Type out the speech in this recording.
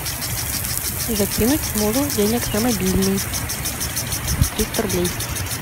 закинуть мужу денег на мобильный триста рублей